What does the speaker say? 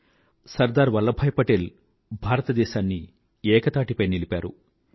భారతదేశాన్ని ఏకతాటిపై నిలపే పగ్గాలను సర్దార్ వల్లభాయ్ పటేల్ అదుపుచేసారు